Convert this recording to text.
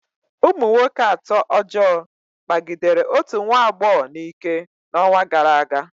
Ụmụ nwoke atọ ọjọọ kpagidere otu nwa agbọghọ n'ike n'ọnwa gara aga.